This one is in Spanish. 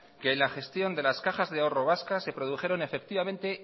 que la gestión de las cajas de ahorro vascas se produjeron